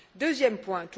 Deuxième point.